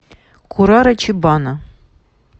курара чибана